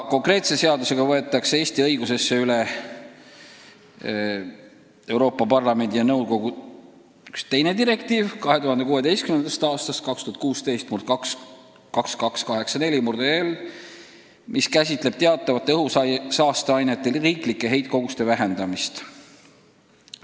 Konkreetse eelnõu eesmärk on võtta Eesti õigusesse üle üks teine Euroopa Parlamendi ja nõukogu direktiiv 2016. aastast: see on direktiiv 2016/2284/EL, mis käsitleb teatud õhusaasteainete heitkoguste vähendamist riikides.